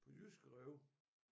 På jyske rev